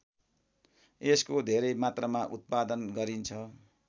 यसको धेरै मात्रामा उत्पादन गरिन्छ